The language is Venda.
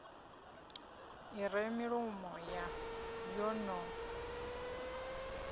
i re milomo yo no